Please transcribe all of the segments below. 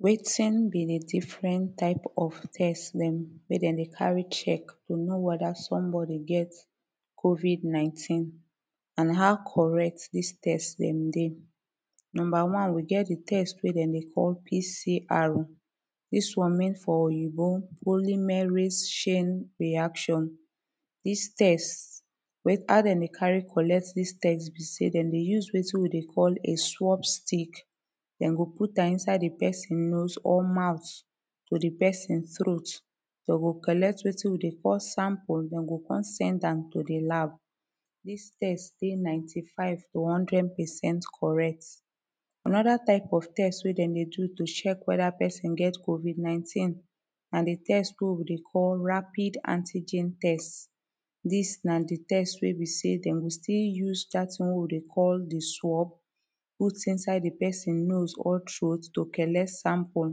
Wetin be the different type of test wey dem dey carry check to know weda somebody get COVID 19 an how correct dis test dem dey Number one we get de test wey dem dey call PCR dis once mean for oyibo polymerase chain reaction dis test wey how dem dey carry collect dis test be say dem dey use wetin we dey call a swop stick dem go put am inside de person nose or mouth to de person troat dem go collect wetin we dey call sample dem go come send am to de lab dis test dey ninety five to hundred percent correct. Anoda type of test wey dem dey do to check weda person get COVID 19 na de test wey we dey call rapid antigen test dis na de test wey be say dem go still use dat tin wey we dey call de swop put inside de person nose or troat to collect sample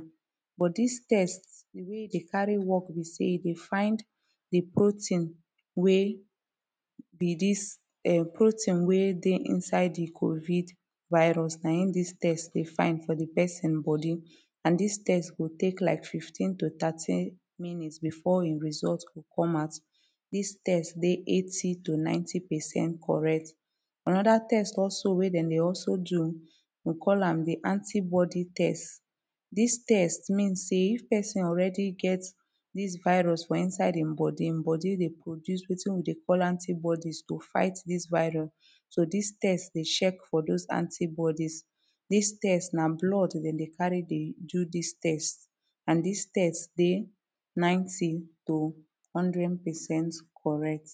but dis test de way dey carry work be say e dey find de protein wey be dis um protein wey dey inside de COVID virus na him dis test dey find for de person body and dis test go take like fifteen to thirty minutes before in result go come out dis test dey eighty to ninety percent correct anoda test also wey dem dey also do we call am de anti body test dis test means say if person already get dis virus for inside him body him body dey produce wetin we dey call antibodies to fight dis virus. So dis test dey check for dose antibodies dis test na blood dem dey carry dey do dis test and dis test dey ninety to hundred percent corret